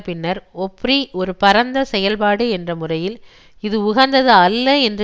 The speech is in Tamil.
பின்னர் ஒப்ரி ஒரு பரந்த செயல்பாடு என்ற முறையில் இது உகந்தது அல்ல என்று